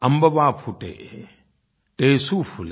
अम्बवा फूटे टेसू फूले